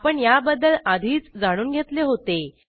आपण याबद्दल आधीच जाणून घेतले होते